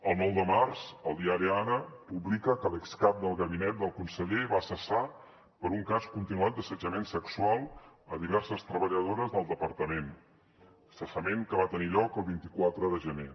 el nou de març el diari ara publica que l’excap del gabinet del conseller va cessar per un cas continuat d’assetjament sexual a diverses treballadores del departament cessament que va tenir lloc el vint quatre de gener